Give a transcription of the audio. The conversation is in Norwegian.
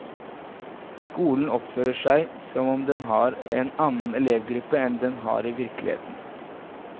Skolen oppfører seg som om den har en annen elevgruppe enn den har i virkeligheten.